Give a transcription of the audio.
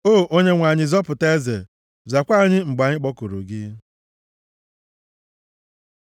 O Onyenwe anyị, zọpụta eze! Zakwaa anyị mgbe anyị kpọkuru gị!